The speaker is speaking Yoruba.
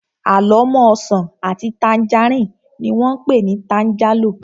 Àlọ́mọ́ ọsàn àti tangerine ni wón pé ni tangerlo